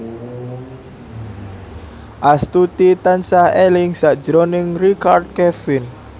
Astuti tansah eling sakjroning Richard Kevin